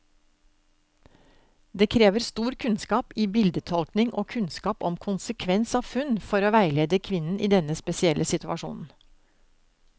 Det krever stor kunnskap i bildetolkning og kunnskap om konsekvens av funn, for å veilede kvinnen i denne spesielle situasjonen.